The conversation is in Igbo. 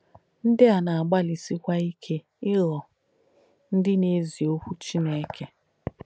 Ndí à nà-àgbàlìsìkwà ìke ìghọ̀ ndí nà-èzí Òkwú Chìnéke.